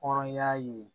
Hɔrɔnya ye